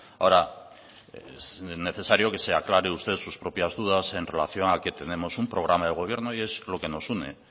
ahora es necesario que se aclare usted sus propias dudas en relación a que tenemos un programa de gobierno y es lo que nos une